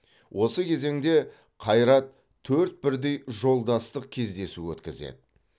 осы кезеңде қайрат төрт бірдей жолдастық кездесу өткізеді